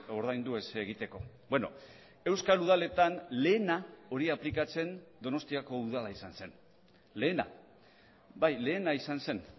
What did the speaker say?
ordaindu ez egiteko beno euskal udaletan lehena hori aplikatzen donostiako udala izan zen lehena bai lehena izan zen